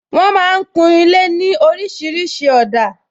Wọn máa ń kun ilé ní orísìírísìí òdà